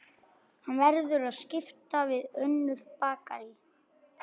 Hann verður að skipta við önnur bakarí.